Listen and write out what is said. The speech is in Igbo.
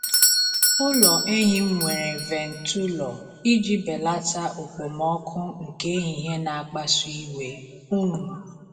Ụlọ ehi m nwere ventụlọ iji belata okpomọkụ nke ehihie na-akpasu iwe. um